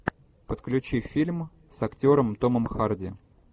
подключи фильм с актером томом харди